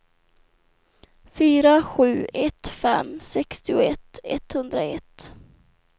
fyra sju ett fem sextioett etthundraett